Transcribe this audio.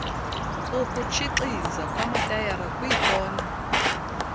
ukutshixiza kwamatayara kwiikona